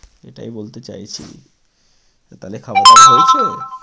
এটাই বলতে চাইছি। তো তাহলে খাওয়া দাওয়া হয়েছে?